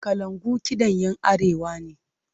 Kalangu kiɗan 'yan Arewa ne.